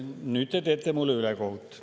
Nüüd te teete mulle ülekohut.